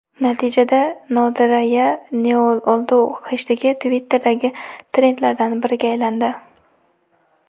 Natijada #NadirayaNeOldu heshtegi Twitter’dagi trendlardan biriga aylandi.